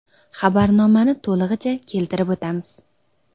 Xabarnomani to‘lig‘icha keltirib o‘tamiz.